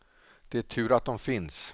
Det är tur att de finns.